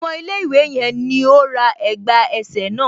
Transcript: Ọmọ ilẹ̀ ìwé yẹn ní ó ra ẹ̀gbà ẹsẹ̀ náà.